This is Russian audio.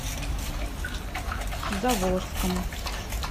заволжском